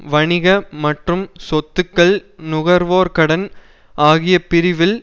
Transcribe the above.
வணிக மற்றும் சொத்துக்கள் நுகர்வோர் கடன் ஆகிய பிரிவில்